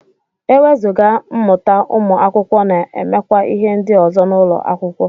Ewezuga mmụta ụmụ akwụkwọ na-emekwa ihe ndị ọzọ n'ụlọ akwụkwọ